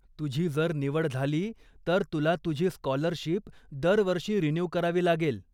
तुझी जर निवड झाली, तर तुला तुझी स्काॅलरशीप दरवर्षी रिन्यू करावी लागेल.